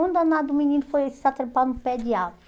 Um danado menino foi se atrepar no pé de árvore.